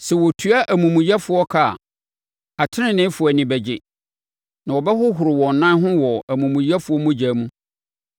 Sɛ wɔtua amumuyɛfoɔ ka a, ateneneefoɔ ani bɛgye, na wɔbɛhohoro wɔn nan ho wɔ amumuyɛfoɔ mogya mu.